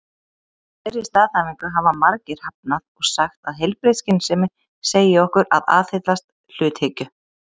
Þeirri staðhæfingu hafa margir hafnað og sagt að heilbrigð skynsemi segi okkur að aðhyllast hluthyggju.